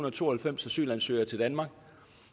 og tooghalvfems asylansøgere til danmark